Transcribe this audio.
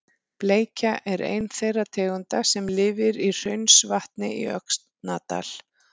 Bleikja er ein þeirra tegunda sem lifir í Hraunsvatni í Öxnadal.